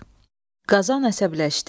Qazan əsəbləşdi, geri döndü.